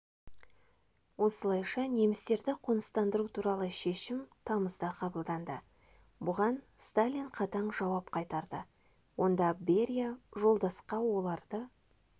осылайша немістерді қоныстандыру туралы шешім тамызда қабылданды бұған сталин қатаң жауап қайтарды онда берия жолдасқа оларды